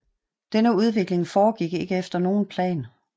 Denne udvikling foregik ikke efter nogen plan